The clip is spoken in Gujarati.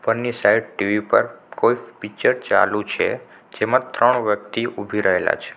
સાઈડ ટી_વી પર કોઈ પિક્ચર ચાલુ છે જેમા ત્રણ વ્યક્તિ ઊભી રહેલા છે.